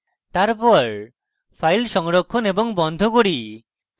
তারপর files সংরক্ষণ এবং বন্ধ করি